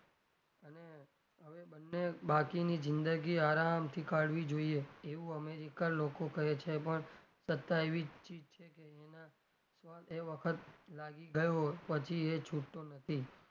બંને બાકીની જિંદગી આરામ થી કાડવી જોઈએ એવું america ના લોકો કહે છે પણ સત્તા એવી ચીજ છે કે એનો સ્વાદ એક વખત લાગી ગયો પછી એ છુટતો નથી.